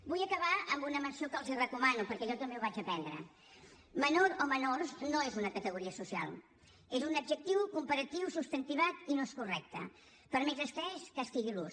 vull acabar amb una menció que els recomano perquè jo també ho vaig aprendre menor o menors no és una categoria social és un adjectiu comparatiu substantivat i no és correcte per més estès que estigui l’ús